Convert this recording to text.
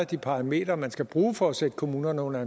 de parametre man skal bruge for at sætte kommunerne under